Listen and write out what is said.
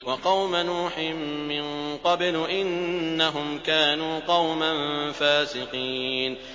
وَقَوْمَ نُوحٍ مِّن قَبْلُ ۖ إِنَّهُمْ كَانُوا قَوْمًا فَاسِقِينَ